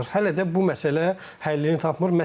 Hələ də bu məsələ həllini tapmır.